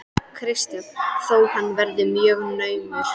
Kristján: Þó hann verið mjög naumur?